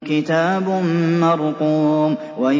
كِتَابٌ مَّرْقُومٌ